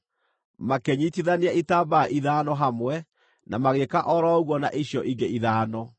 Makĩnyiitithania itambaya ithano hamwe, na magĩĩka o ro ũguo na icio ingĩ ithano.